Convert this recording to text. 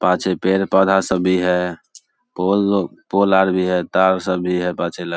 पाछे पेड़-पौधा सब भी है पोल आर भी है तार सब भी है पाछे ।